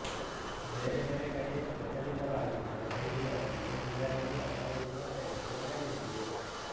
ಬೇರೆ ಬೇರೆ ಕಡೆ ಪ್ರಚಲಿತವಾಗಿದ್ದ ಶೈಲಿಗಳನ್ನು ಇದರಲ್ಲಿ ಅಳವಡಿಸುವ ಪ್ರಯತ್ನ ನಡೆದಿದೆ